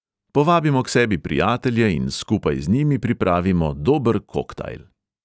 Povabimo k sebi prijatelje in skupaj z njimi pripravimo dober koktajl.